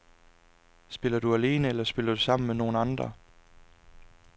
Spiller du alene eller spiller du sammen med nogen andre?